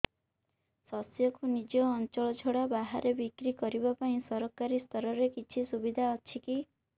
ଶସ୍ୟକୁ ନିଜ ଅଞ୍ଚଳ ଛଡା ବାହାରେ ବିକ୍ରି କରିବା ପାଇଁ ସରକାରୀ ସ୍ତରରେ କିଛି ସୁବିଧା ଅଛି କି